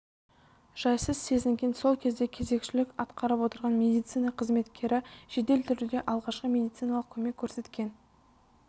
жайсыз сезінген сол кезде кезекшілік атқарып отырған медицина қызметкері жедел түрде алғашқы медициналық көмек көрсеткен